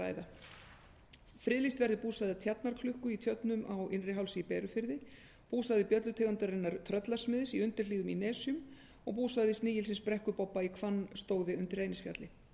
þeirra friðlýst verði búsvæði tjarnaklukku í tjörnum á innrihálsi í berufirði búsvæði bjöllutegundarinnar tröllasmiðs í undirhlíðum í nesjum og búsvæði snigilsins brekkubobba í hvannstóði undir reynisfjalli